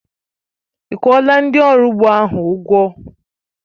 Ị́ kwuọla ndị ọrụ ugbo ahụ ụgwọ?